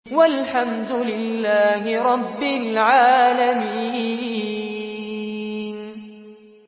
وَالْحَمْدُ لِلَّهِ رَبِّ الْعَالَمِينَ